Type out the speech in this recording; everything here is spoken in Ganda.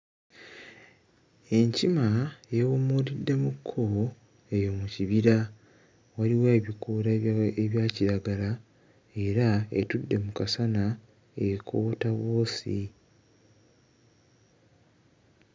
Enkima yeewumuutiddemukko eyo mu kibira, waliwo ekikoola ebya ebya kiragala era etudde mu kasana ekoota bwosi.